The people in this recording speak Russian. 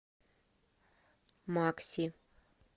макси